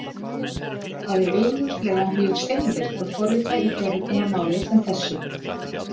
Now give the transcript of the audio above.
Það er augljóslega mjög seinvirkt að forrita í forritunarmáli sem þessu.